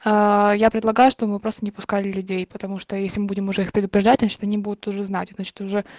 аа я предлагаю чтобы мы просто не пускали людей потому что если мы будем уже их предупреждать значит они будут уже знать значит уже